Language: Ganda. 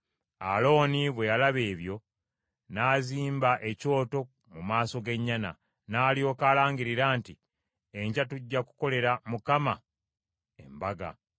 Alooni bwe yalaba ebyo, n’azimba ekyoto mu maaso g’ennyana, n’alyoka alangirira nti, “Enkya tujja kukolera Mukama embaga.”